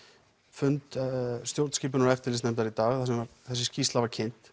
fund stjórnskipunar og eftirlitsnefndar í dag þar sem að þessi skýrsla var kynnt